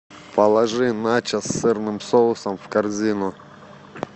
положи начос с сырным соусом в корзину